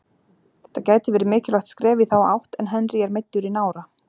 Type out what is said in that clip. Þetta gæti verið mikilvægt skref í þá átt en Henry er meiddur í nára.